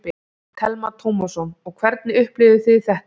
Telma Tómasson: Og hvernig upplifðuð þið þetta?